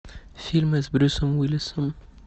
фильмы с брюсом уиллисом